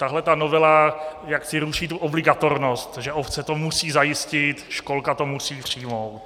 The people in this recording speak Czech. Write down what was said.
Tahle ta novela jaksi ruší tu obligatornost, že obce to musí zajistit, školka to musí přijmout.